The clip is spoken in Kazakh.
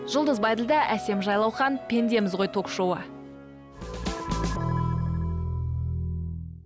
жұлдыз байділдә әсем жайлаухан пендеміз ғой ток шоуы